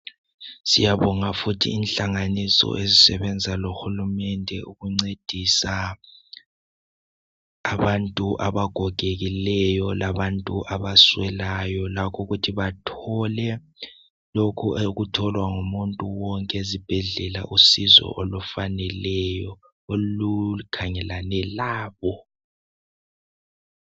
Siyabonga futhi inhlanganiso ezisebenza lohulumende ukuncedisa abantu abagogekileyo labantu abaswelayo. Lakho ukuthi bathole lokhu okutholwa ngumuntu wonke ezibhedlela usizo olukhangelane labo.